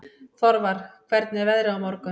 Þorvar, hvernig er veðrið á morgun?